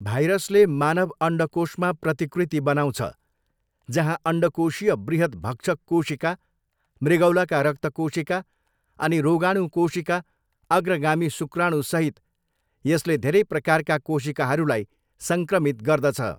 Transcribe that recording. भाइरसले मानव अण्डकोषमा प्रतिकृति बनाउँछ, जहाँ अण्डकोशीय बृहत् भक्षक कोशिका, मृगौलाका रक्तकोशिका अनि रोगाणु कोशिका, अग्रगामी शुक्राणुसहित यसले धेरै प्रकारका कोशिकाहरूलाई सङ्क्रमित गर्दछ।